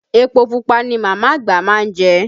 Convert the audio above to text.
Epo pupa ni màmá àgbà má ń jẹ